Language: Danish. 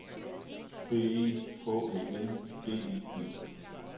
B E H Æ N D I G